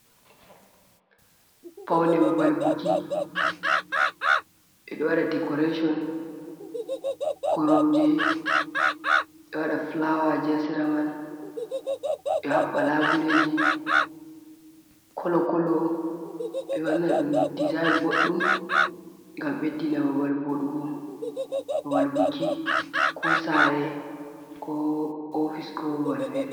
Paune babal buki, ɓeɗo wada dikoreshon, koromje, be wada fulawaji haseramai, be habba labuleji kolo-kolo be wana ɗum dizainin boɗdum, gam beddina babal Voɗugo. Babal buki, ko sare, ko ofise ko babal fere.